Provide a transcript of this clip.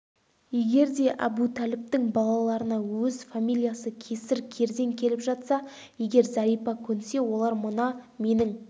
егер де әбутәліптің балаларына өз фамилиясы кесір кердең келіп жатса егер зәрипа көнсе олар мына менің